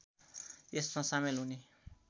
यसमा सामेल हुने